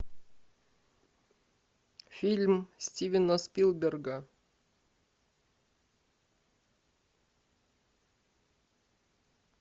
фильм стивена спилберга